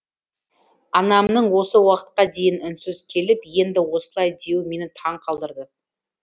анамның осы уақытқа дейін үнсіз келіп енді осылай деуі мені таңқалдырды